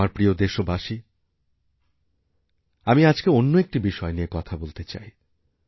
আমার প্রিয় দেশবাসী আমি আজকে অন্য একটি বিষয় নিয়ে কথা বলতেচাই